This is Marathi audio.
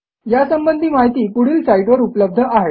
यासंबंधी माहिती पुढील साईटवर उपलब्ध आहे